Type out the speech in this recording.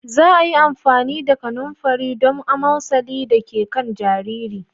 Za a yi amfani da kanumfarin don amosalin da ke kan jariri.